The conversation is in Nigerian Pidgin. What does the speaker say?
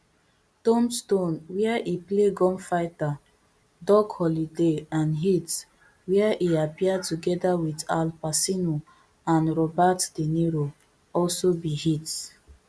tombstone wia e play gunfighter doc holliday and heat wia e appear togeda wit al pacino and robert de niro also be hits